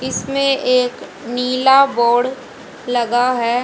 इसमें एक नीला बोर्ड लगा है।